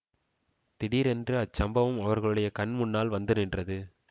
திடீரென்று அச்சம்பவம் அவர்களுடைய கண் முன்னால் வந்து நின்றது